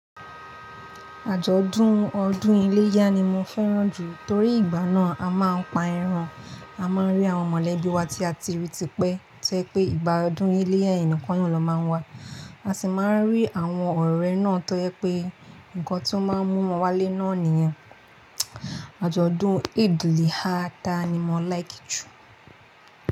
Àjọ̀dún ọdún iléyá ni mo fẹ́ràn jù torí ìgbà náà a máa ń pa ẹran, a máa ń rí àwọn mọ̀lẹ́bí wa tí a ti rí tipẹ́ tó jé pé ìgbà ọdún iléyá yẹn nìkan nà máa wà, a sì máa ń rí àwọn ọ̀rẹ́ náà tó jẹ́ pé nǹkan tó máa ń mú wọn wálé náà nìyan. Àjọ̀dún Eid-el-Ha ta ni mo like jù.